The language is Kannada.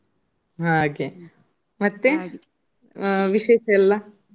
ಹಾಗೆ ವಿಶೇಷ ಎಲ್ಲಾ?